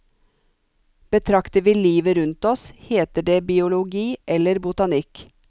Betrakter vi livet rundt oss, heter det biologi eller botanikk.